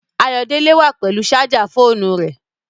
Ayòdélẹ̀ wà pẹ̀lú sájà fọ̀ọ̣̀nú rẹ.